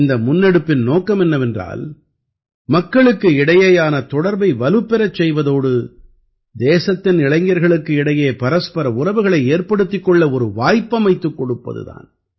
இந்த முன்னெடுப்பின் நோக்கம் என்னவென்றால் மக்களுக்கு இடையேயான தொடர்பை வலுப்பெறச் செய்வதோடு தேசத்தின் இளைஞர்களுக்கு இடையே பரஸ்பர உறவுகளை ஏற்படுத்திக் கொள்ள ஒரு வாய்ப்பமைத்துக் கொடுப்பது தான்